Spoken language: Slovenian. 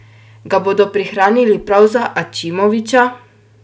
Ga bodo prihranili prav za Ačimovića?